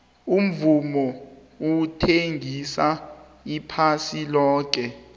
umvumo uthengisa iphasi loke